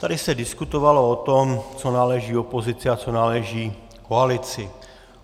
Tady se diskutovalo o tom, co náleží opozici a co náleží koalici.